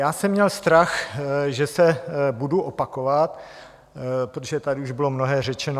Já jsem měl strach, že se budu opakovat, protože tady už bylo mnohé řečeno.